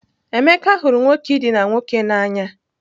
Emeka hụrụ nwoke idina nwoke n'anya.